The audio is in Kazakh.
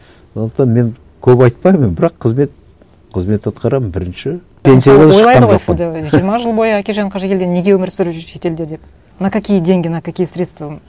сондықтан мен көп айтпаймын бірақ қызмет қызмет атқарамын бірінші жиырма жыл бойы әкежан қажыгелдин неге өмір сүріп жүр шетелде деп на какие деньги на какие средства